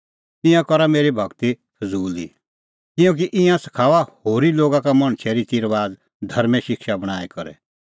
ईंयां करा मेरी भगती फज़ूल ई किल्हैकि ईंयां सखाऊआ होरी लोगा का मणछे रितीरबाज़ धर्में शिक्षा बणांईं करै